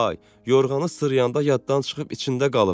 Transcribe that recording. Yorğanı sırıyanda yaddan çıxıb içində qalıb.